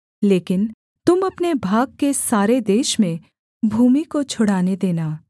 लेकिन तुम अपने भाग के सारे देश में भूमि को छुड़ाने देना